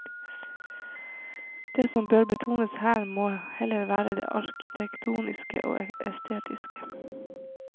Det som bør betones her, må heller være det arkitektoniske og estetiske.